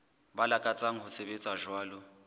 ba lakatsang ho sebetsa jwalo